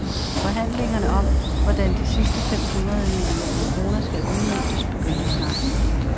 Forhandlingerne om, hvordan de sidste fem hundrede millioner kroner skal udmøntes, begynder snart.